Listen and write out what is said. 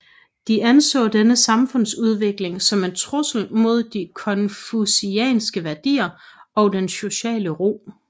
De anså denne samfundsudvikling som en trussel mod de konfucianske værdier og den sociale ro